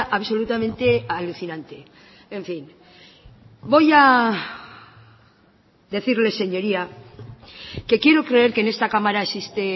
absolutamente alucinante en fin voy a decirle señoría que quiero creer que en esta cámara existe